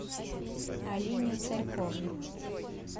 алине царьковой